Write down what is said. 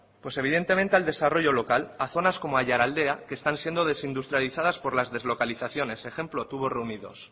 pues evidentemente al desarrollo local a zonas como aiaraldea que están siendo desindustrializadas por las deslocalizaciones ejemplo tubos reunidos